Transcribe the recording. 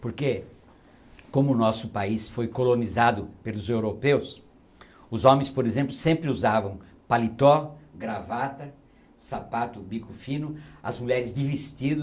Porque, como o nosso país foi colonizado pelos europeus, os homens, por exemplo, sempre usavam paletó, gravata, sapato, bico fino, as mulheres de vestido,